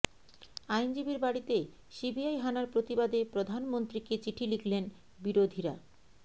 আইনজীবীর বাড়িতে সিবিআই হানার প্রতিবাদে প্রধানমন্ত্রীকে চিঠি লিখলেন বিরোধীরা